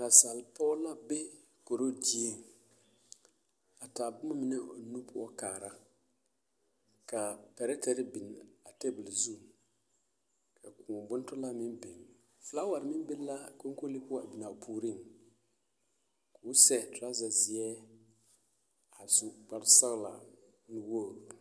Nasapɔɡe la be korodieŋ a taa boma mine o nu poɔ kaara ka pɛrɛtɛr biŋ a teebul zu ka kõɔ bontolaa meŋ biŋ felaawɛr meŋ be la kolee poɔ biŋ a puoriŋ ka o sɛ traazazeɛ a su kparsɔɡelaa nuwoɡri.